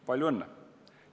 Palju õnne!